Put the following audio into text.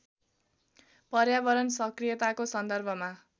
पर्यावरण सक्रियताको सन्दर्भमा